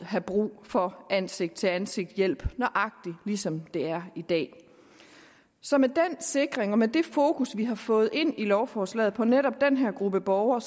have brug for ansigt til ansigt hjælp nøjagtig ligesom det er i dag så med den sikring og med det fokus vi har fået sat ind i lovforslaget på netop den her gruppe borgere